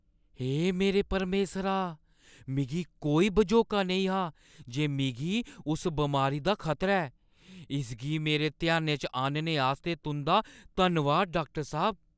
हे मेरे परमेसरा! मिगी कोई बझोका नेईं हा जे मिगी उस बमारी दा खतरा ऐ। इसगी मेरे ध्यानै च आह्‌नने आस्तै तुंʼदा धन्नवाद, डाक्टर साह्‌ब।